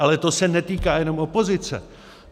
Ale to se netýká jenom opozice.